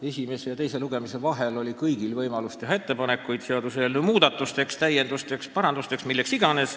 Esimese ja teise lugemise vahel oli kõigil võimalus teha ettepanekuid seaduseelnõu muutmiseks, täiendamiseks, parandamiseks, milleks iganes.